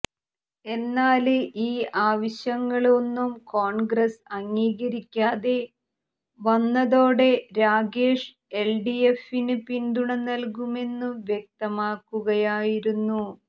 എന്നാല് ഈ ആവശ്യങ്ങള് ഒന്നും കോൺഗ്രസ് അംഗീകരിക്കാതെ വന്നതോടെ രാഗേഷ് എൽഡിഎഫിന് പിന്തുണ നല്കുമെന്നു വ്യക്തമാക്കുകയായിരുന്നു